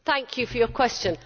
Thank you for your question.